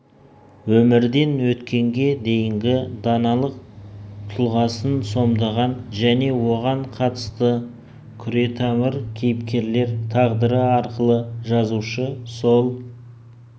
өмірден өткенге дейінгі даналық тұлғасын сомдаған және соған қатысты күретамыр кейіпкерлер тағдыры арқылы жазушы сол